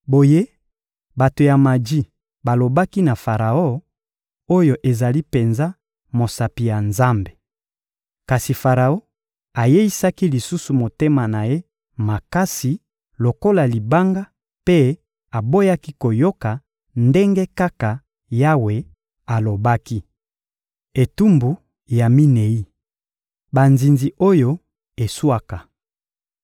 Boye bato ya maji balobaki na Faraon: «Oyo ezali penza mosapi ya Nzambe!» Kasi Faraon ayeisaki lisusu motema na ye makasi lokola libanga mpe aboyaki koyoka, ndenge kaka Yawe alobaki. Etumbu ya minei: banzinzi oyo eswaka